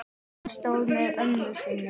Hann stóð með ömmu sinni.